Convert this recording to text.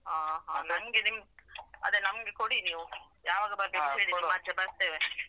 ಹ ಹ ನಮ್ಗ ನಿಮ್, ಅದೆ ನಮ್ಗೆ ಕೊಡಿ ನೀವು. ಯಾವಾಗ ಬರ್ಬೇಕು ಹೇಳಿ ನಿಮ್ ಆಚೆ ಬರ್ತೇವೆ.